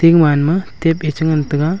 emaan ma tep ae cha ngan taga.